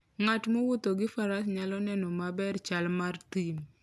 Ng'at mowuotho gi faras nyalo neno maber chal mar thim.